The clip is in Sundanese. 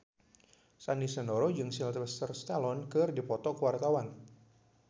Sandy Sandoro jeung Sylvester Stallone keur dipoto ku wartawan